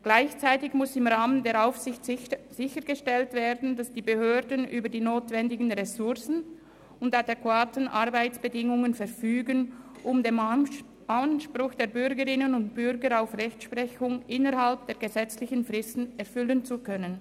Gleichzeitig muss im Rahmen der Aufsicht sichergestellt werden, dass die Behörden über die nötigen Ressourcen und adäquate Arbeitsbedingungen verfügen, um den Anspruch der Bürgerinnen und Bürger auf Rechtsprechung innerhalb der gesetzlichen Fristen erfüllen zu können.